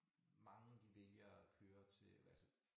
Mange de vælger at køre til hvad altså